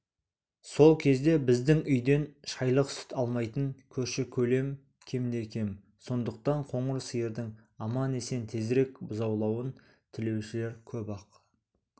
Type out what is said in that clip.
сол кезде біздің үйден шайлық сүт алмайтын көрші-көлем кемде-кем сондықтан қоңыр сиырдың аман-есен тезірек бұзаулауын тілеушілер көп-ақ